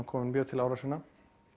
komin mjög til ára sinna